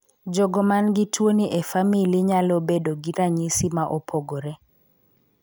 Jogo man gi tuoni e famili nyalo bedo gi ranyisi ma opogore.